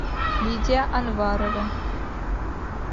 лидия анварова